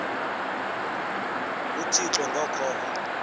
uthixo ngo kholo